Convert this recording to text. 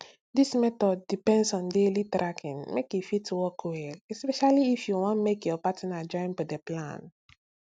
this method depends on daily tracking make e fit work well especially if you want make your partner joinb the plan